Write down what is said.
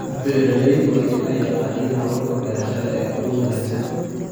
Beeraleydu waa inay yaqaaniin hababka beerashada ee ugu wanaagsan.